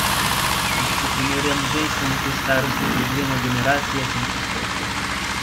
In če se primerjam z ženskami te starosti pred dvema generacijama, sem čisto ok.